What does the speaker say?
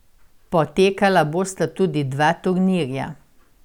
Potekala bosta tudi dva turnirja.